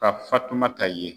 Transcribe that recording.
Ka fatumata ye.